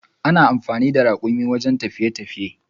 Ana amfani da rakumi wajen tafiye tafiye.